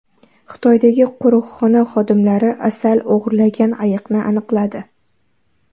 Xitoydagi qo‘riqxona xodimlari asal o‘g‘irlagan ayiqni aniqladi.